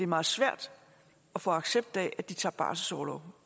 meget svært at få accept af at de tager barselsorlov